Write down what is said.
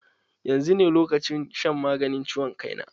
Yanzu ne lokacin shan maganin ciwon kai na.